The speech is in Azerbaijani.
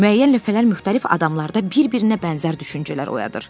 Müəyyən lövhələr müxtəlif adamlarda bir-birinə bənzər düşüncələr oyadır.